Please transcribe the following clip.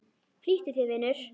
Flýttu þér, vinur.